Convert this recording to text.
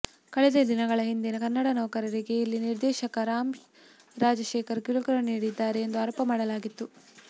ಕಳೆದ ದಿನಗಳ ಹಿಂದೆ ಕನ್ನಡ ನೌಕರರಿಗೆ ಇಲ್ಲಿನ ನಿರ್ದೇಶಕ ರಾಮ್ ರಾಜಶೇಖರ್ ಕಿರುಕುಳ ನೀಡುತ್ತಿದ್ದಾರೆ ಎಂದು ಆರೋಪ ಮಾಡಲಾಗಿತ್ತು